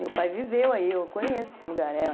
Meu pai viveu aí, eu conheço o lugar.